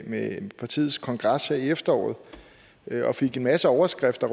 med partiets kongres her i efteråret og fik en masse overskrifter